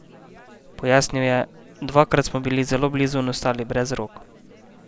Pojasnil je: "Dvakrat smo bili zelo blizu in ostali brez rok.